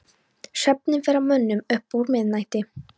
Svefninn fer að mönnum upp úr miðnætti.